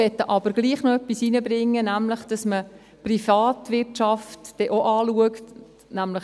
Wir möchten aber trotzdem noch etwas einbringen, nämlich, dass man die Privatwirtschaft dann auch anschaut.